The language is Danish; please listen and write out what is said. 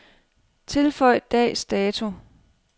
Tilføj dags dato.